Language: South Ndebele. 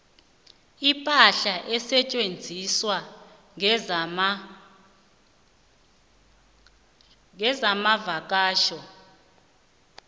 ipahla esetjenziswa kezamavakatjho